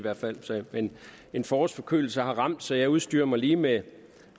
men en forårsforkølelse har ramt mig så jeg udstyrer mig lige med